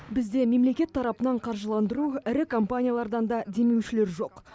бізде мемлекет тарапынан қаржыландыру ірі компаниялардан да демеушілер жоқ